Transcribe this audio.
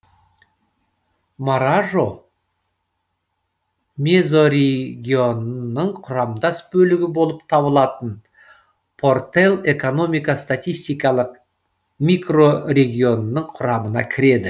маражо мезорегионының құрамдас бөлігі болып табылатын портел экономика статистикалық микрорегионының құрамына кіреді